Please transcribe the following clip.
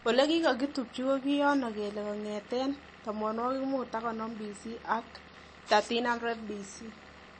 Elekikokitubchi kiyono kele kongeten 1550BC ak 1300BC